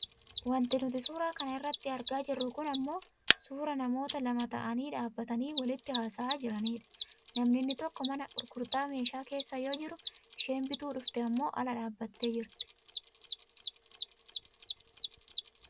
wanti nuti suura kana irratti argaa jirru kun ammoo suuraa namoota lama ta'anii dhaabbatanii walitti haasa'aa jiraniidha . namni inni tokko mana gurgurtaa meeshaa keessa yoo jiru isheen bituu dhufte ammoo ala dhaabbattee jirti.